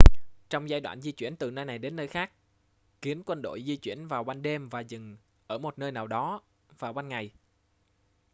trong giai đoạn di chuyển từ nơi này đến nơi khác kiến quân đội di chuyển vào ban đêm và dừng ở một nơi nào đó vào ban ngày